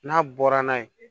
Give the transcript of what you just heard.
N'a bɔra n'a ye